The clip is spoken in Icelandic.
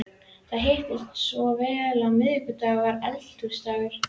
Það hittist svo á að miðvikudagur var Eldhúsdagur.